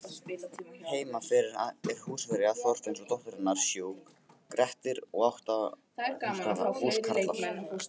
Heima fyrir er húsfreyja Þorfinns og dóttir hennar sjúk, Grettir og átta húskarlar.